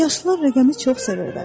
Yaşlılar rəqəmi çox sevirlər.